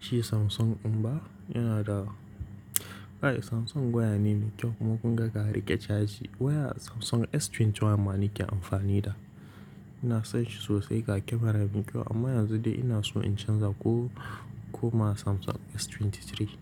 Shi Samsung um yana da, kai Samsung waya ne mai kyau kuma kun ga riƙe caji. Waya Samsung S21 ma nake amfani da. Ina son shi sosai ga camera din kyau amma yanzu dai ina so in canza ko koma Samsung S23.